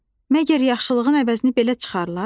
Məgər yaxşılığın əvəzini belə çıxarlar?